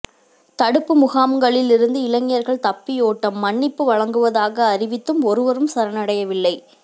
தடுப்பு முகாம்களில் இருந்து இளைஞர்கள் தப்பியோட்டம் மன்னிப்பு வழங்குவதாக அறிவித்தும் ஒருவரும் சரணடையவில்லை